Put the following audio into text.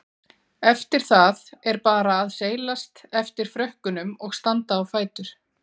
Eftir það er bara að seilast eftir frökkunum og standa á fætur.